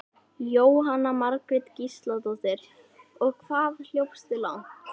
Leggja menn sig niður við jafn lágkúrulegt hjal?